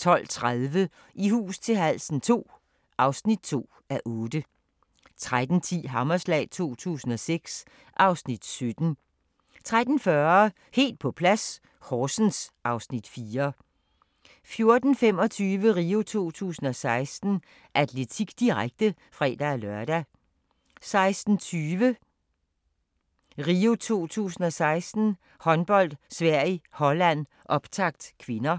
12:30: I hus til halsen II (2:8) 13:10: Hammerslag 2006 (Afs. 17) 13:40: Helt på plads - Horsens (Afs. 4) 14:25: RIO 2016: Atletik, direkte (fre-lør) 16:20: RIO 2016: Håndbold - Sverige-Holland, optakt (k)